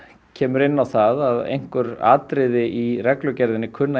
kemur inn á það að einhver atriði í reglugerðinni kunna að